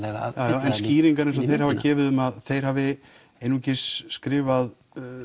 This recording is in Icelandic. já en skýringar eins og þeir hafa gefið um að þeir hafi einungis skrifað